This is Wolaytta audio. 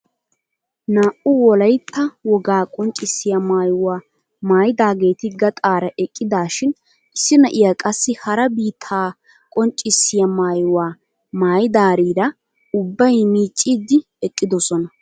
Naa"u naati wolaytta wogaa qonccisiyaa maayuwaa maayidageti gaxaara eqqidashin issi na'iyaa qassi hara biittaa qonccisiyaa maayuwaa maayidarira ubbay miicciidi eqqidoosona.